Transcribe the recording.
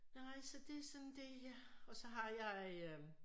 Nej så det sådan det jeg og så har jeg øh